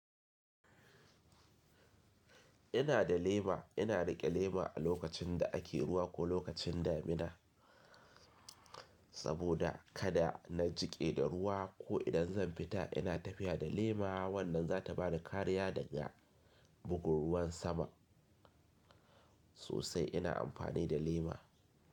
Ina da lema, ina riƙe lema a lokacin da ake ruwa ko lokacin damina saboda kada na jiƙe da ruwa ko idan zan fita ina tafiya da lema wannan za ta bani kariya daga bugun ruwan sama. Sosai ina amfani da lema.